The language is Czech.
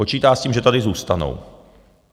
Počítá s tím, že tady zůstanou.